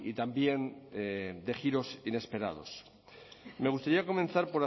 también de giros inesperados me gustaría comenzar